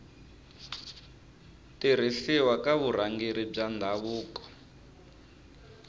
tirhisiwa ka vurhangeri bya ndhavuko